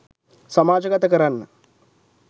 සමාජගත කරන්න.